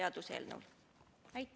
Aitäh!